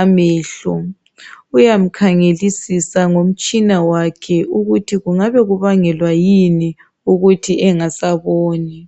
amehlo uyamkhangelisisa ngomtshina wakhe ukuthi kungabe kubangelwa kuyini ukuthi engasaboni